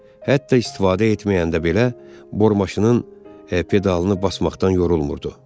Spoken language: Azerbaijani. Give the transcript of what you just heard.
Hətta istifadə etməyəndə belə, bor maşının pedalını basmaqdan yorulmurdu.